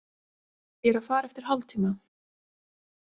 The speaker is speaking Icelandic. Ég er að fara eftir hálftíma.